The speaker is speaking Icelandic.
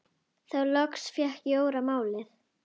Þá loks fékk Jóra málið.